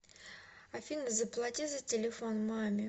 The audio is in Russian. афина заплати за телефон маме